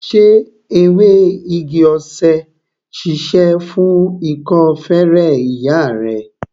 Ṣé ewé igi-osè ṣíṣe fún ikọ́ feré ìyá rẹ?